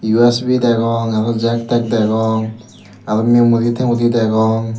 U_S_P degong aro jack tack degong aro mimori temory degong.